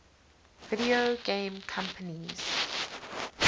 video game companies